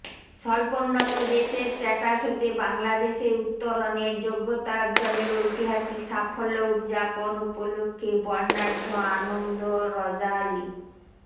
স্বল্পোন্নত দেশের স্ট্যাটাস হতে বাংলাদেশের উত্তরনের যোগ্যতা অর্জনের ঐতিহাসিক সাফল্য উদযাপন উপলক্ষ্যে বর্নাঢ্য আনন্দ র্যালী